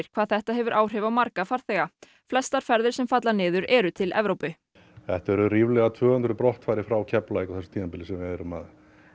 hvað þetta hefur áhrif á marga farþega flestar ferðir sem falla niður eru til Evrópu þetta eru ríflega tvö hundruð brottfarir frá Keflavík sem við erum að